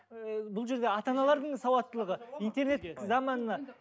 ііі бұл жерде ата аналардың сауаттылығы интернет заманына